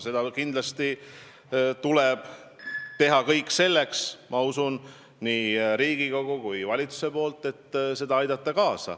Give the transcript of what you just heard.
Nii Riigikogul kui valitsusel tuleb teha kõik selleks, et sellele kaasa aidata.